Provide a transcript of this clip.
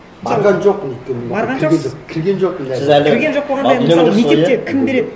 барған жоқпын өйткені барған жоқсыз кірген жоқпын сіз әлі кірген жоқ болғанда мысалы мектепте кім береді